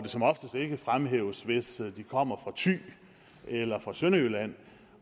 som oftest ikke fremhæves hvis de kommer fra thy eller fra sønderjylland